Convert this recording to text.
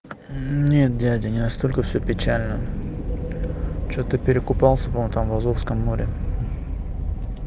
нет дядя не настолько всё печально что то перекупался по моему там в азовском море